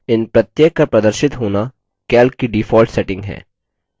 इन प्रत्येक का प्रदर्शित होना calc की default settings है